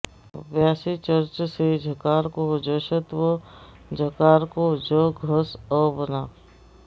अभ्यासे चर्च से झकार को जश्त्व जकार होकर ज घस् अ बना